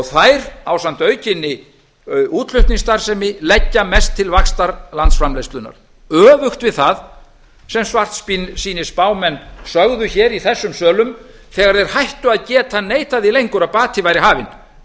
þær ásamt aukinni útflutningsstarfsemi leggja mest til vaxtar landsframleiðslunnar öfugt við það sem svartsýnisspámenn sögðu hér í þessum sölum þegar þeir hættu að geta neitað því lengur að bati væri hafinn en